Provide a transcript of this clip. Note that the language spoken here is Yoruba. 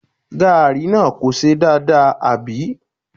Gààrí náà kò ṣe dáadáa, àbí?